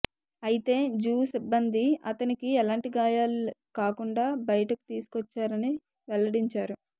అయితే జూ సిబ్బంది అతనికి ఎలాంటి గాయాలు కాకుండా బయటకు తీసుకోచ్చారని వెల్లడించారు